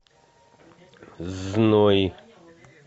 зной